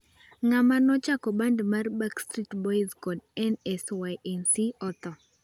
Ng'ama no chako band mar Backstreet Boys kod NSYnc otho